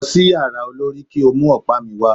Lọ sí yàrá olorì kí o mú ọ̀pá mi wà.